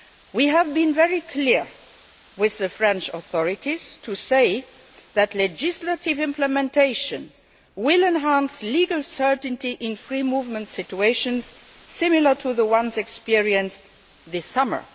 law we have been very clear with the French authorities in saying that legislative implementation will enhance legal certainty in free movement situations similar to the ones experienced this summer.